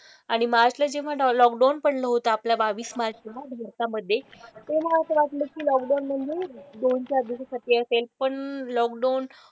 आणि मार्चला जेव्हा लॉकडाउन पडलं होतं आपल्या बावीस मार्चला भारतामधे तेव्हा असं वाटलं की लॉकडाउन म्हणजे दोन, चार दिवसांसाठी असेल. पण लॉकडाउन